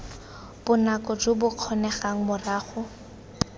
bonako jo bo kgonegang morago